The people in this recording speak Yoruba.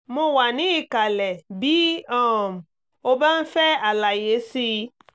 mo wà ní ìkàlẹ̀ bí um o bá ń fẹ́ àlàyé sí i